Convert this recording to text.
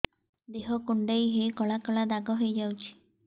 ଦେହ କୁଣ୍ଡେଇ ହେଇ କଳା କଳା ଦାଗ ହେଇଯାଉଛି